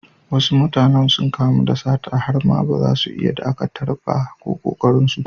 Wasu mutane sun kamu da sata har ma baza su iya ɗakatar ba, ko ƙoƙarin su.